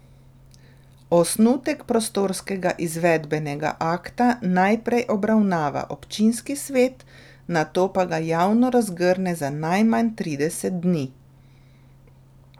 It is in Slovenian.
Osnutek prostorskega izvedbenega akta najprej obravnava občinski svet, nato pa ga javno razgrne za najmanj trideset dni.